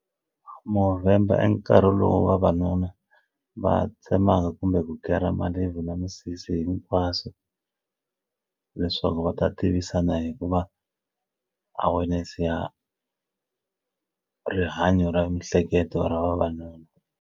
Movember i nkarhi lowu vavanuna va tsemaka kumbe ku kera malebvu na misisi hinkwaswo leswaku va ta tivisana hikuva awareness ya rihanyo ra miehleketo ra vavanuna.